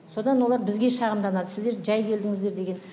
содан олар бізге шағымданады сіздер жәй келдіңіздер деген